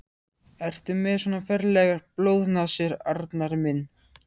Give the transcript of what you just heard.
Ertu með svona ferlegar blóðnasir, Arnar minn?